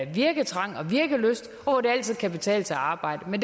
virketrang og virkelyst og hvor det altid kan betale sig at arbejde men